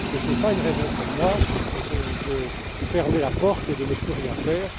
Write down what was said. Ce n'est pas une raison pour moi de fermer la porte et de ne plus rien faire.